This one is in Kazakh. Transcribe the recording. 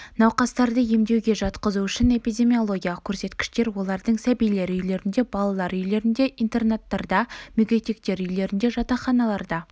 науқастарды емдеуге жатқызу үшін эпидемиологиялық көрсеткіштер олардың сәбилер үйлерінде балалар үйлерінде интернаттарда мүгедектер үйлерінде жатақханаларда